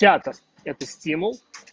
театр это стимул